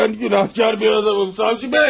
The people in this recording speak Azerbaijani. Mən günahkar bir adamım savcı bəy!